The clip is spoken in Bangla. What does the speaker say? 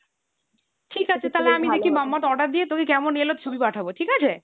Mamaearth তোকে কেমন এলো অর্ডার দিয়ে ছবি পাঠাবো ঠিক আছে ?